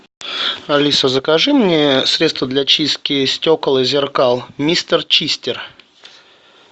алиса закажи мне средство для чистки стекол и зеркал мистер чистер